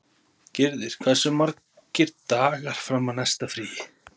Gyrðir, hversu margir dagar fram að næsta fríi?